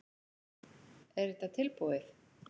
Er þetta tilbúið?